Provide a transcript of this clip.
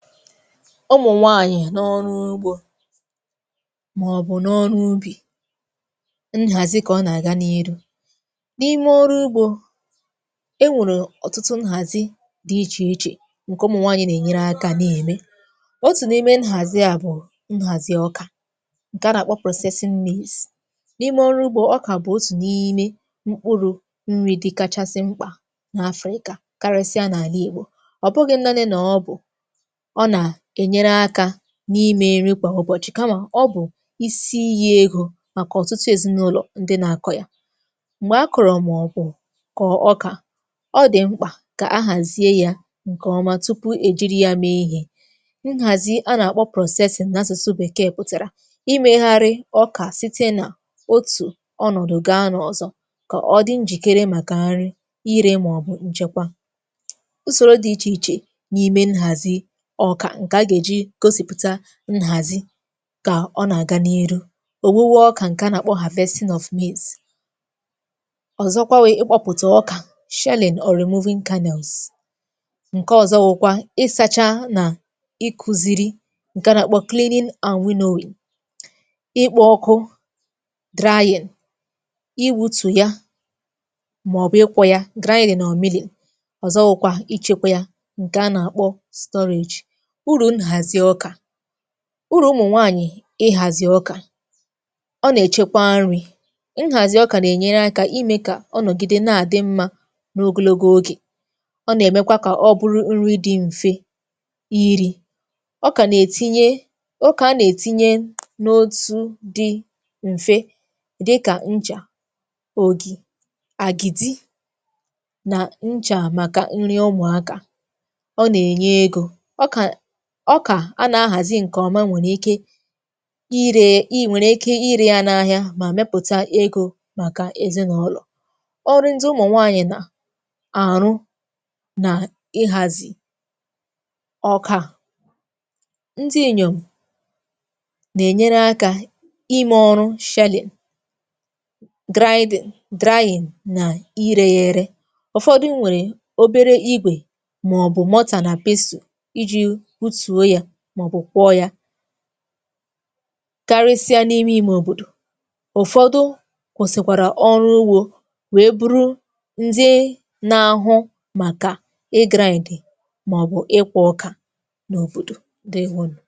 Umụ̀ nwaànyị̀ n’ọrụ ugbȯ màọ̀bụ̀ n’ọrụ ubì, nhàzi kà ọ nà-àga n’iru. N’ime ọrụ ugbȯ, enwèrè ọ̀tụtụ nhàzi dị ichè ichè ǹke ụmụ̀ nwaànyị̀ nà-ènyere akȧ na-ème, otù n’ime nhàzi à bụ̀ nhàzi ọkà, ǹke a nà-àkpọ. N’ime ọrụ ugbȯ, ọkà bụ̀ otù n’ime mkpụrụ̇ nrì dịkachasị mkpà n’afrịkà, karịsịa n’àla igbò, ọ̀ bụghị̇ nnani nà ọ bụ̀, ọ na-ènyere áká n’imė nri kwà ụbọ̀chị̀, kamà ọ bụ̀ isi iyi̇ egȯ màkà ọ̀tụtụ èzinụlọ̀ ndị nà-akọ̀ yà. Mgbè akọ̀rọ̀ màọbụ̀ kọ̀ ọkà, ọ dị̀ mkpà kà a hàzie yȧ ǹkèọma tupu èjiri ya mee ihė. Nhàzi a nà-àkpọ na-asụsụ bèkee pụtara imegharị̇ ọkà site nà otù ọnọ̀dụ̀ ga n’ọ̀zọ, kà ọ dị njìkere màkà nri, irė, màọbụ̀ nchekwa. Usoro dị ichè ichè n'ime nhazi ọkà, ǹkè a gà-èji gosìpụ̀ta nhàzi kà ọ nà-àga n’ihu; òwuwe ọkà ǹkè a nà-àkpọ, ọ̀zọkwa wụ ịkpọpụ̀tà ọkà, ǹkè ọ̀zọ wu̇kwa ịsȧchȧ nà ịkuziri ǹkè a nà-àkpọ, ịkpọ̇ ọkụ, iwùtù ya, màọ̀bụ̀ ịkwọ̇ ya, ọ̀zọ wu̇kwà ichėkwȧ yȧ ǹkè a nà-àkpọ. Uru̇ nhàzi ọkà, uru ụmụ̀nwaànyị̀ ịhàzị̀ ọkà, ọ nà-èchekwa nri̇, nhàzị̀ ọkà nà-ènyere akȧ imė kà ọ nọ̀gide na-àdị mmȧ n’ogologo ogè, ọ nà-èmekwa kà ọ bụrụ nri dị̇ m̀fe iri̇, ọkà nà-ètinye, ọkà a nà-ètinye n’otu dị̇ m̀fe dịkà, nchà, ògì, àgìdì nà nchà màkà nri ụmụ̀akȧ, ọ nà-ènye egȯ, ọkà, ọkà a nà-ahàzị ǹkè ọma nwèrè ike ire, ịnwere ike ịre yȧ n’ahịa mà mẹpụ̀ta egȯ màkà èzịnụlọ̀. Ọrụ ndị ụmụ̀nwaanyị̀ nà àrụ nà ịhàzị ọkà, ndị inyòm nà-ènyere akȧ ime ọrụ, nà irė yȧ ere. Ụ̀fọdụ nwèrè obere igwè màọbụ̀ nà iji hutuo ya, maọbu kwọ ya karịsịa n’ime iṁe òbòdò, ụ̀fọdụ kwụsị̀kwàrà ọrụ ugbȯ wee bụrụ ndị nȧ-ahụ màkà e ị màọbụ̀ ịkwọ ọkà n’òbòdò, ǹdewȯnù.